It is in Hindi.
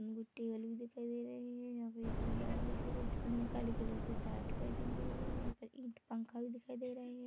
बल्ब दिखाई दे रहे है यहाँ पे एक इंसान दिखाई दे रये उसने काले कलर की सार्ट पहनी हुई है औ यहाँ पे ईठ पंखा भी दिखाई दे रहे है।